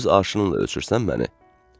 Öz arşınınla ölçürsən məni.